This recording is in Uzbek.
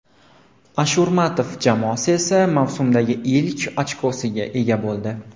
Ashurmatov jamoasi esa mavsumdagi ilk ochkosiga ega bo‘ldi.